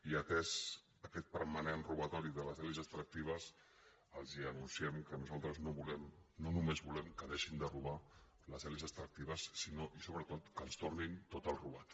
i atès aquest permanent robatori de les elits extractives els anunciem que nosaltres no només volem que deixin de robar les elits extractives sinó i sobretot que ens tornin tot el robat